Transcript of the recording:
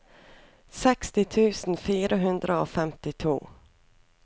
seksti tusen fire hundre og femtito